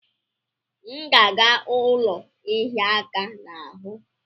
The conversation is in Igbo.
M ga aga ụlọ ihia aka n'ahụ?